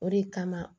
O de kama